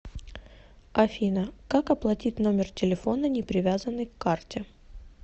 афина как оплатить номер телефона не привязанный к карте